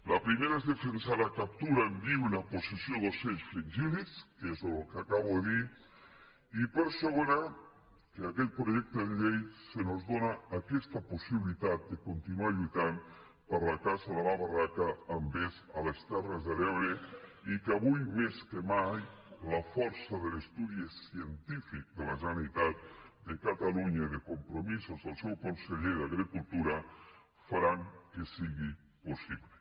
la primera és defensar la captura en viu i la possessió d’ocells fringíl·lids que és el que acabo de dir i la segona que amb aquest projecte de llei se’ns dóna aquesta possibilitat de continuar lluitant per la caça en barraca amb vesc a les terres de l’ebre i que avui més que mai la força de l’estudi científic de la generalitat de catalunya i de compromisos del seu conseller d’agricultura farà que sigui possible